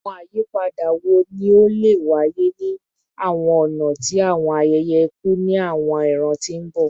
Awọn ayipada wo ni o le waye ni awọn ọna ti awọn ayẹyẹ iku ni awọn iran ti n bọ?